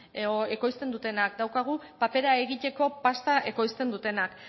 edo ekoizten dutenak daukagu papera egiteko pasta ekoizten dutena